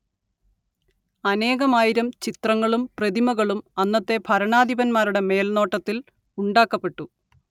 അനേകമായിരം ചിത്രങ്ങളും പ്രതിമകളും അന്നത്തെ ഭരണാധിപന്മാരുടെ മേൽനോട്ടത്തിൽ ഉണ്ടാക്കപ്പെട്ടു